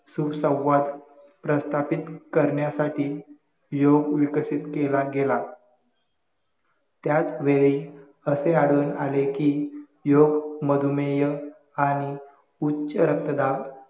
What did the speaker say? सुसंवाद प्रस्थापित करण्यासाठी योग विकसित केला गेला त्याचवेळी असे आढळून आले कि योग मधुमेह आणि उच्चरक्तदाब